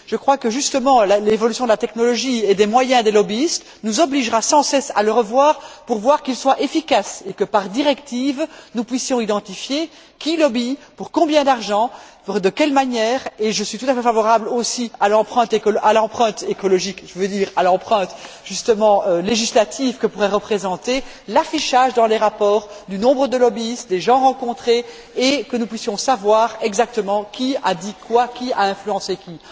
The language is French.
Je crois que, justement, l'évolution de la technologie et des moyens des lobbyistes nous obligera sans cesse à le revoir pour qu'il soit efficace et que, par directive, nous puissions identifier qui exerce des activités de lobbying, pour combien d'argent, de quelle manière, et je suis tout à fait favorable aussi à l'empreinte écologique, je veux dire à l'empreinte justement législative que pourrait représenter l'affichage dans les rapports du nombre de lobbyistes, des gens rencontrés, et que nous puissions savoir exactement qui a dit quoi, qui a influencé qui.